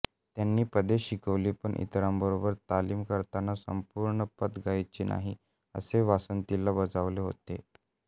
त्यांनी पदे शिकवली पण इतरांबरोबर तालीम करताना संपूर्ण पद गायचे नाही असे वासंतीला बजावले होते